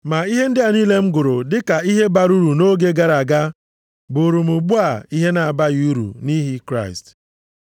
Ma ihe ndị a niile m gụrụ dịka ihe bara uru nʼoge gara aga, bụụrụ m ugbu a, ihe na-abaghị uru nʼihi Kraịst.